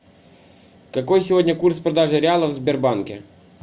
какой сегодня курс продажи реалов в сбербанке